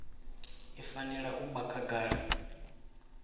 i fanela u vha khagala